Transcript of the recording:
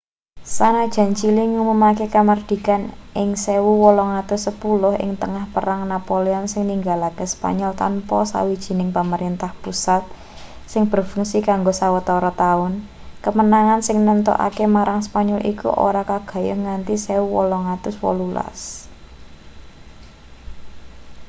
sanajan chili ngumumake kamardikan ing 1810 ing tengah perang napoleon sing ninggalake spanyol tanpa sawijining pamerentah pusat sing berfungsi kanggo sawetara taun kemenangan sing nemtokake marang spanyol iku ora kagayuh nganti 1818